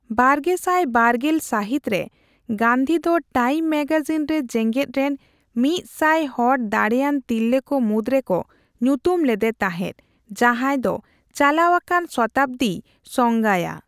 ᱵᱟᱨᱜᱮᱥᱟᱭ ᱵᱟᱨᱜᱮᱞ ᱥᱟᱦᱤᱛ ᱨᱮ, ᱜᱟᱱᱫᱷᱤ ᱫᱚ ᱴᱟᱭᱤᱢ ᱢᱮᱜᱟᱡᱤᱱ ᱨᱮ ᱡᱮᱜᱮᱫ ᱨᱮᱱ ᱢᱤᱛ ᱥᱟᱭ ᱦᱚᱲ ᱫᱟᱲᱮᱭᱟᱱ ᱛᱤᱨᱞᱟᱹ ᱠᱚ ᱢᱩᱫᱽᱨᱮᱠᱚ ᱧᱩᱛᱩᱢ ᱞᱮᱫᱮ ᱛᱟᱦᱮᱫ ᱡᱟᱦᱟᱸᱭ ᱫᱚ ᱪᱟᱞᱟᱣ ᱟᱠᱟᱱ ᱥᱚᱛᱟᱵᱽ ᱫᱤᱭ ᱥᱯᱝᱜᱟᱭᱟ ᱾